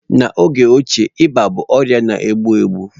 N'oge ochie ịba bụ ọrịa na-egbu egbu